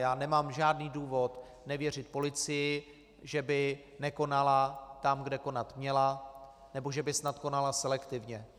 Já nemám žádný důvod nevěřit policii, že by nekonala tam, kde konat měla, nebo že by snad konala selektivně.